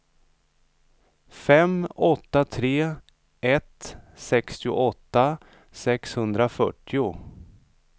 fem åtta tre ett sextioåtta sexhundrafyrtio